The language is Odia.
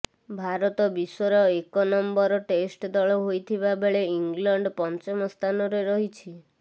ଭାରତ ବିଶ୍ୱର ଏକ ନମ୍ବର ଟେଷ୍ଟ ଦଳ ହୋଇଥିବା ବେଳେ ଇଂଲଣ୍ଡ ପଞ୍ଚମ ସ୍ଥାନରେ ରହିଛି